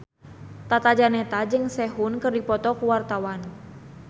Tata Janeta jeung Sehun keur dipoto ku wartawan